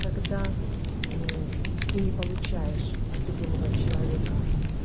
когда мм ты не получаешь от любимого человека